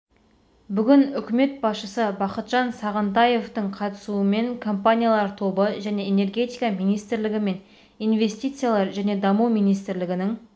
бүгін үкімет басшысы бақытжан сағынтаевтың қатысуымен компаниялар тобы және энергетика министрлігі мен инвестициялар және даму министрлігінің